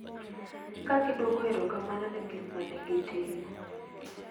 Ka gidwoko erokamano ne gik ma ne gitimo.